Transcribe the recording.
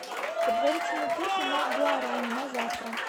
предварительные курсы на гуарани на завтра